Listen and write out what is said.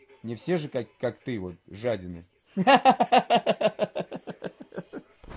не все же как ты вот жадины ха-ха-ха